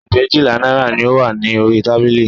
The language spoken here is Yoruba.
Ẹgbẹ̀éjìlá náírà ni ó wà ní orí tábìlì